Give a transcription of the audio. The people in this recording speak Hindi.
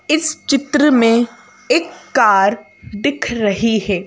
इस चित्र में एक कार दिख रही है।